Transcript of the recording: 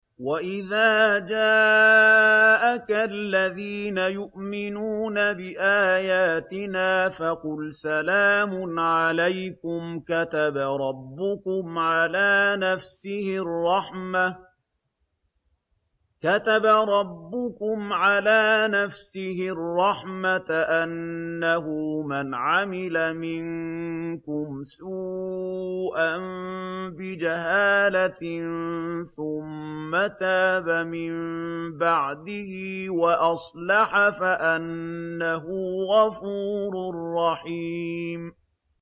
وَإِذَا جَاءَكَ الَّذِينَ يُؤْمِنُونَ بِآيَاتِنَا فَقُلْ سَلَامٌ عَلَيْكُمْ ۖ كَتَبَ رَبُّكُمْ عَلَىٰ نَفْسِهِ الرَّحْمَةَ ۖ أَنَّهُ مَنْ عَمِلَ مِنكُمْ سُوءًا بِجَهَالَةٍ ثُمَّ تَابَ مِن بَعْدِهِ وَأَصْلَحَ فَأَنَّهُ غَفُورٌ رَّحِيمٌ